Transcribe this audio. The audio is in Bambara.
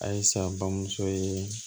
Ayisa bamuso ye